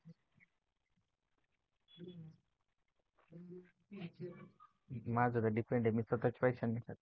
माझा तर depend आहे मी स्वतःच्या पैशांनी नाही खात